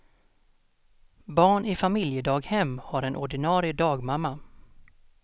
Barn i familjedaghem har en ordinarie dagmamma.